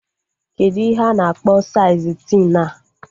Kedụ ihe a na-akpọ saịz tin a?